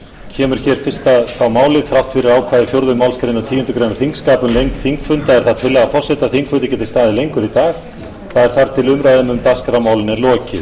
kemur hér fyrsta málið þrátt fyrir ákvæði fjórðu málsgreinar tíundu greinar þingskapa um lengd þingfunda er það tillaga forseta að þingfundur geti staðið lengur í dag eða þar til umræða um dagskrármálin er lokið